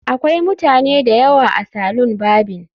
Akwai mutane da yawa a salon barbing